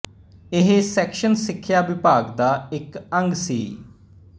ਇਹ ਸੈਕਸ਼ਨ ਸਿੱਖਿਆ ਵਿਭਾਗ ਦਾ ਇੱਕ ਅੰਗ ਸੀ